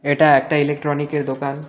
এটা একটা ইলেকট্রনিকের দোকান।